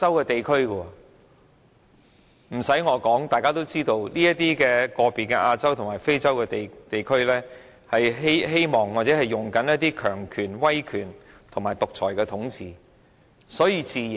不用我說，大家都知道，該等非洲和亞洲國家均希望或正在實行強權、威權或獨裁統治。